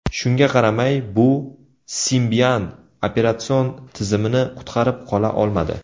Shunga qaramay, bu Symbian operatsion tizimini qutqarib qola olmadi.